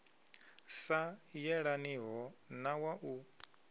sa yelaniho na wa u